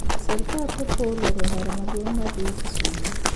Sirkal korpo oloro ndara maduong` madhi kisumo